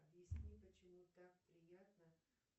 объясни почему так приятно